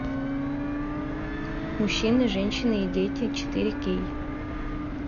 мужчины женщины и дети четыре кей